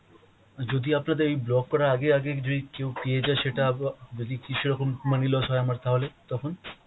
যদি আপনাদের এই ব্লক করার আগে আগে যদি কেও পেয়ে যায় সেটা আবা~ যদি কিছু রকম money loss হয় আমার তাহলে তখন !